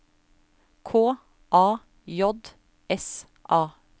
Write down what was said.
K A J S A